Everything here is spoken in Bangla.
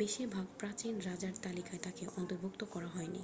বেশিরভাগ প্রাচীন রাজার তালিকায় তাকে অন্তর্ভুক্ত করা হয়নি